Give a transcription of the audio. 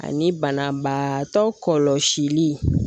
Ani banabaatɔ kɔlɔlɔ sili